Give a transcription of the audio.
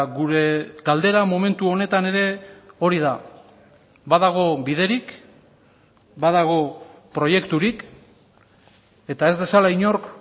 gure galdera momentu honetan ere hori da badago biderik badago proiekturik eta ez dezala inork